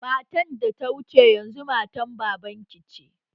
Matan da ya wuce yanzu matan baban ki ce?